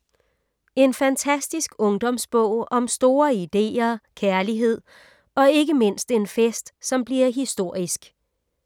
En fantastisk ungdomsbog om store ideer, kærlighed og ikke mindst en fest, som bliver historisk.